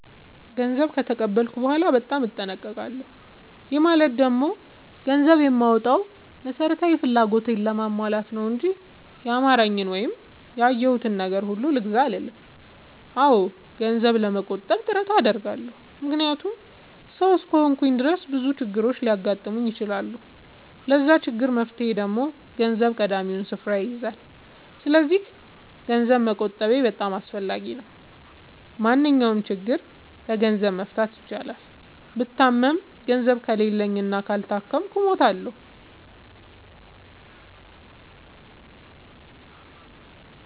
ገንዘብ ከተቀበልኩ በኋላ በጣም እጠነቀቃለሁ። ይህ ማለት ደግሞ ገንዘብ የማወጣው መሠረታዊ ፍላጎቴን ለማሟላት ነው እንጂ ያማረኝን ወይም ያየሁትን ነገር ሁሉ ልግዛ አልልም። አዎ ገንዘብ ለመቆጠብ ጥረት አደርጋለሁ። ምክንያቱም ሠው እስከሆንኩኝ ድረስ ብዙ ችግሮች ሊያጋጥሙኝ ይችላሉ። ለዛ ችግር መፍትሄ ደግሞ ገንዘብ ቀዳሚውን ስፍራ ይይዛል። ሰስለዚክ ገንዘብ መቆጠቤ በጣም አስፈላጊ ነው። ማንኛውንም ችግር በገንዘብ መፍታት ይቻላል። ብታመም ገንዘብ ከሌለኝ እና ካልታከምኩ እሞታሁ።